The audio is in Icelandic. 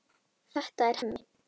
Þetta er Hemmi.